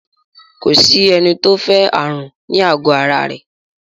Ko sí ẹni tó fẹ́ ààrùn ní àgọ ara rẹ̀